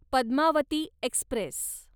Padmavati Express